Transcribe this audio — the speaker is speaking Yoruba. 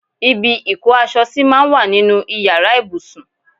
Ibi ìkó aṣọ sí máa ń wà nínú Ìyàrá ìbùsùn.